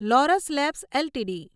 Laurus labs LTD